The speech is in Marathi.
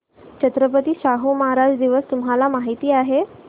छत्रपती शाहू महाराज दिवस तुम्हाला माहित आहे